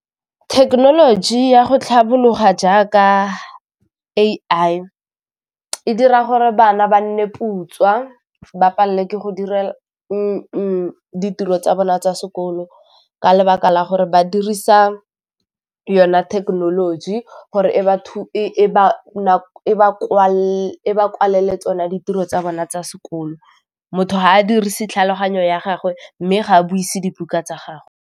Thekenoloji ya go tlhabologa jaaka A_I e dira gore bana ba nne putswa , ba palelwe ke go ditiro tsa bona tsa sekolo ka lebaka la gore ba dirisa yona thekenoloji gore e ba kwalele tsona ditiro tsa bona tsa sekolo motho ga a dirise tlhaloganyo ya gagwe mme ga a buise dibuka tsa .